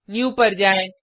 new पर जाएँ